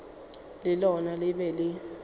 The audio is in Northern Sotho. le lona le be le